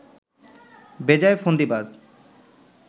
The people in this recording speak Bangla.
বেজায় ফন্দিবাজ